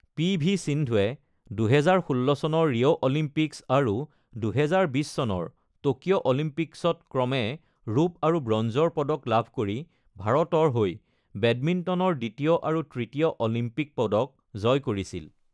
P. V. সিন্ধুৱে ২০১৬ চনৰ Rio Olympics আৰু ২০২০ চনৰ টকিঅ’ অলিম্পিকছত ক্ৰমে ৰূপ আৰু ব্ৰঞ্জৰ পদক লাভ কৰি ভাৰতৰ হৈ বেডমিণ্টনৰ দ্বিতীয় আৰু তৃতীয় অলিম্পিক পদক জয় কৰিছিল।